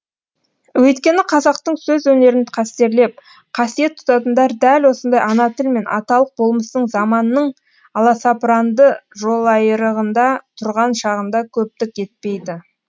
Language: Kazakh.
өйткені қазақтың сөз өнерін қастерлеп қасиет тұтатындар дәл осындай ана тіл мен аталық болмыстың заманның аласапыранды жолайырығында тұрған шағында көптік етпейді